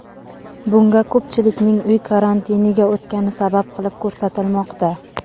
Bunga ko‘pchilikning uy karantiniga o‘tgani sabab qilib ko‘rsatilmoqda.